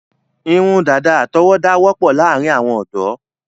Irun dàda àtọwọ́dá wọ́pọ̀ láàrin àwọn ọ̀dọ́